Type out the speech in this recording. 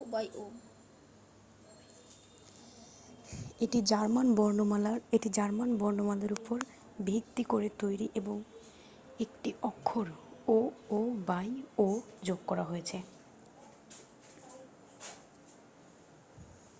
"এটি জার্মান বর্ণমালার ওপর ভিত্তি করে তৈরি এবং একটি অক্ষর "õ/õ" যোগ করা হয়েছে।